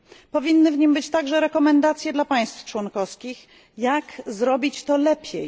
Powinny być w nim także rekomendacje dla państw członkowskich, jak zrobić to lepiej.